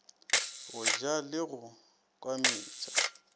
go ja le go kwametša